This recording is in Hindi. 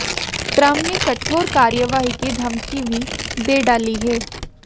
ट्रम्प ने कठोर कार्यवाही की धमकी भी दे डाली है